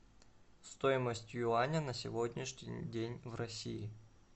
стоимость юаня на сегодняшний день в россии